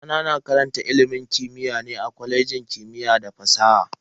Yayana na karantar ilimin siyasa ne a kwalejin kimiyya da fasaha.